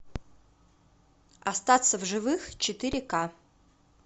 остаться в живых четыре ка